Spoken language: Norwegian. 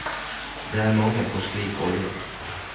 Det er mangel på slik olje.